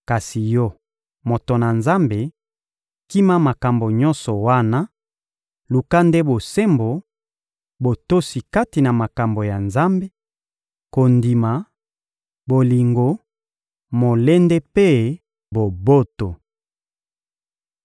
Kasi yo, moto na Nzambe, kima makambo nyonso wana; luka nde bosembo, botosi kati na makambo ya Nzambe, kondima, bolingo, molende mpe boboto.